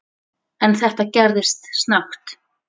En þetta gerðist snöggt.